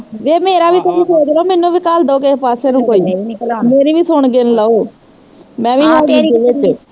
ਵੇ ਮੇਰਾ ਵੀ ਕੁਛ ਸੋਚਲੋ ਮੈਨੂੰ ਵੀ ਘੱਲਦੋਂ ਕਿਸੇ ਪਾਸੇ ਨੂੰ ਮੇਰੀ ਵੀ ਸੁਣ ਗਿਣ ਲਓ ਮੈਂ ਵੀ ਆ ਵਿੱਚ